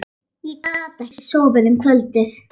Ég gat ekki sofnað um kvöldið.